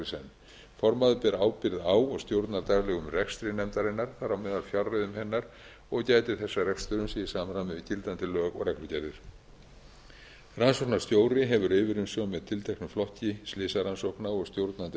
senn formaður ber ábyrgð á og stjórnar daglegum rekstri nefnarinnar þar á meðal fjárreiðum hennar og gætir þess að rekstur sé í samræmi við gildandi lög og reglugerðir rannsóknarstjóri hefur yfirumsjón með tilteknum flokki slysarannsókna og stjórnandi